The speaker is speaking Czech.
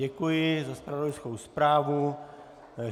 Děkuji za zpravodajskou zprávu.